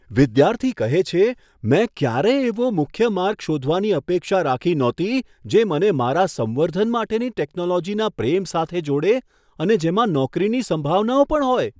વિદ્યાર્થી કહે છે, મેં ક્યારેય એવો મુખ્ય માર્ગ શોધવાની અપેક્ષા રાખી ન હતી જે મને મારા સંવર્ધન માટેની ટેકનોલોજીના પ્રેમ સાથે જોડે અને જેમાં નોકરીની સંભાવનાઓ પણ હોય.